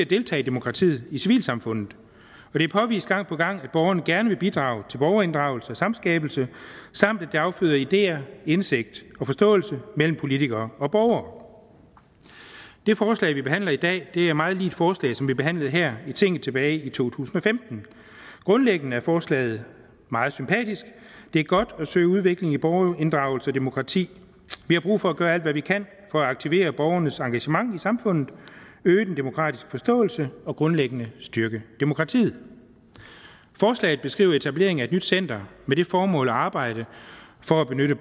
deltage i demokratiet i civilsamfundet det er påvist gang på gang at borgerne gerne vil bidrage til borgerinddragelse og samskabelse samt at det afføder ideer indsigt og forståelse mellem politikere og borgere det forslag vi behandler i dag er meget lig et forslag som vi behandlede her i tinget tilbage to tusind og femten grundlæggende er forslaget meget sympatisk det er godt at søge udvikling i borgerinddragelse og demokrati vi har brug for at gøre alt hvad vi kan for at aktivere borgernes engagement i samfundet øge den demokratiske forståelse og grundlæggende styrke demokratiet forslaget beskriver etablering af et nyt center med det formål at arbejde for at knytte